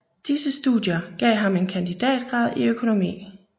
Disse studier gav ham en kandidatgrad i økonomi